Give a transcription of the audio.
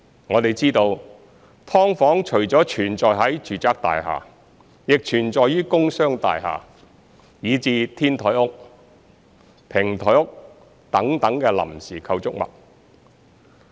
我們知道，"劏房"除了存在於住宅大廈，亦存在於工商大廈，以至"天台屋"、"平台屋"等臨時構築物。